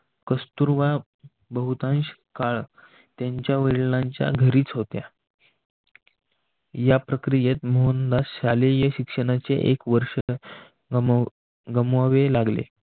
कस्तुरबा बहुतांश काळ त्यांच्या वडिलांच्या घरीच होत्या. या प्रक्रियेत मोहनला शालेय शिक्षणाचे एक वर्ष गमवावे लागले.